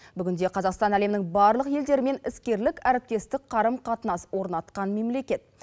бүгінде қазақстан әлемнің барлық елдерімен іскерлік әріптестік қарым қатынас орнатқан мемлекет